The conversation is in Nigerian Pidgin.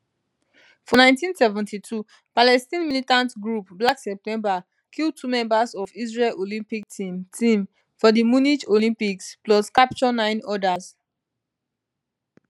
for 1972 palestine militant group black september kill two members of israel olympic team team for di munich olympics plus capture nine odas